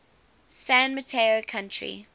san mateo county